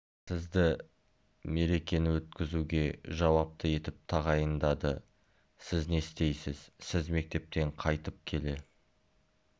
сізді мерекені өткізуге жауапты етіп тағайындады сіз не істейсіз сіз мектептен қайтып келе